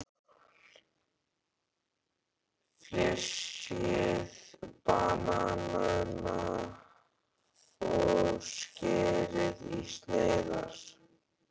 Flysjið bananana og skerið í sneiðar.